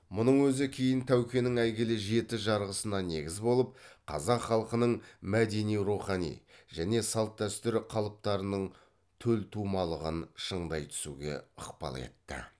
мұның өзі кейін тәукенің әйгілі жеті жарғысына негіз болып қазақ халқының мәдени рухани және салт дәстүр қалыптарының төлтумалығын шыңдай түсуге ықпал етті